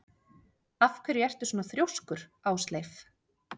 Af hverju ertu svona þrjóskur, Ásleif?